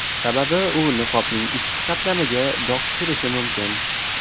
Sababi u niqobning ichki qatlamiga dog‘ tushirishi mumkin.